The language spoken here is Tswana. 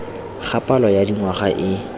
ga palo ya dingwaga e